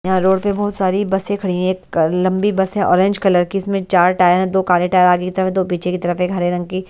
यहाँ रोड पे बहुत सारी बसें खड़ी है एक लंबी बस हैऑरेंज कलर की इसमें चार टायर हैंदो काले टायर आगे की तरफ दो पीछे की तरफ एक हरे रंग की--